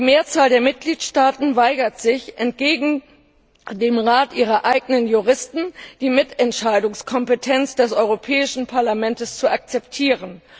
Die Mehrzahl der Mitgliedstaaten weigert sich, entgegen dem Rat ihrer eigenen Juristen, die Mitentscheidungskompetenz des Europäischen Parlaments zu akzeptieren.